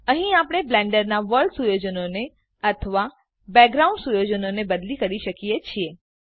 અહીં આપણે બ્લેન્ડરનાં વર્લ્ડ સુયોજનોને અથવા બેકગ્રાઉન્ડ પૃષ્ઠભૂમિ સુયોજનોને બદલી કરી શકીએ છે